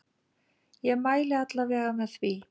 Ég mæli alla vega með því.